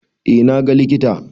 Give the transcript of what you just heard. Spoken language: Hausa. Eh na ga likita.